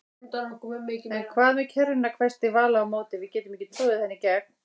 En hvað með kerruna hvæsti Vala á móti, við getum ekki troðið henni í gegn